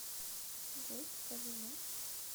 джой покажи матч